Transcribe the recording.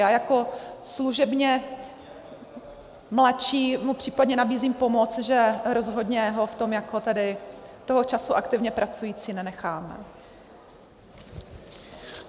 Já jako služebně mladší mu případně nabízím pomoc, že rozhodně ho v tom jako tedy toho času aktivně pracující nenechám.